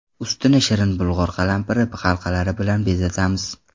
Ustini shirin bulg‘or qalampiri halqalari bilan bezatamiz.